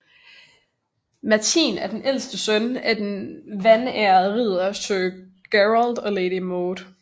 Merthin er den ældste søn af den vanærede ridder sir Gerald og lady Maud